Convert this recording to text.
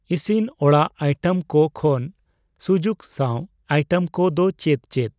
ᱤᱥᱤᱱᱚᱲᱟᱜ item ᱠᱚ ᱠᱷᱚᱱ ᱥᱩᱡᱩᱠ ᱥᱟᱣ ᱟᱭᱴᱮᱢ ᱠᱚ ᱫᱚ ᱪᱮᱫ ᱪᱮᱫ ?